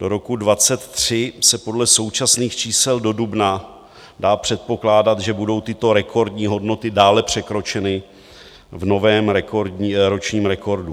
Do roku 2023 se podle současných čísel do dubna dá předpokládat, že budou tyto rekordní hodnoty dále překročeny v novém ročním rekordu.